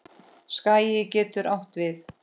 Skagi getur átt við